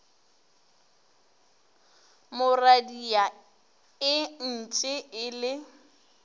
mo radia entše e le